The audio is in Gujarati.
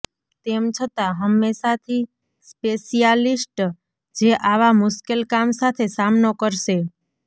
તેમ છતાં હંમેશાથી સ્પેશિયાલિસ્ટ જે આવા મુશ્કેલ કામ સાથે સામનો કરશે